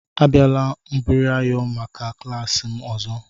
Abịala mbubreyo maka klas m ọzọ!